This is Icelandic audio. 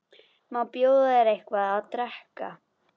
Má bjóða þér eitthvað að drekka?